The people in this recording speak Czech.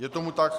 je tomu tak.